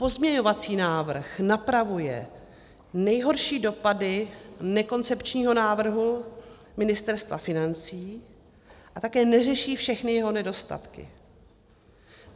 Pozměňovací návrh napravuje nejhorší dopady nekoncepčního návrhu Ministerstva financí a také neřeší všechny jeho nedostatky.